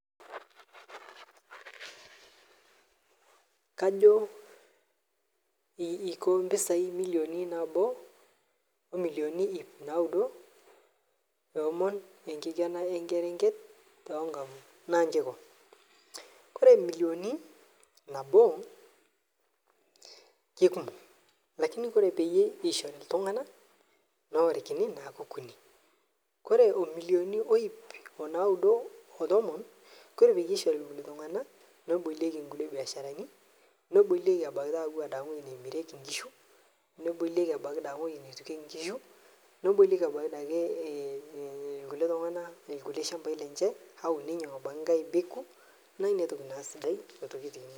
Ore emillioni nabo naa kikumok. Kake ore peyie ishori iltunganak neorikini naa ikutitik. Ore imillioi nano o nkalifuni o tomon teneishori iltunganak nebolieki nkulie biasharani nebolieki abaiki ewueji neyiengeki nkishu nebolieki abaiki ewueji neitukiyieki nkishu nebolieki abaiki taa ade irkulie tunganak ilchambai lenye.